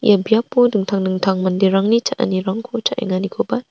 ia biapo dingtang dingtang manderangni cha·anirangko cha·enganikoba--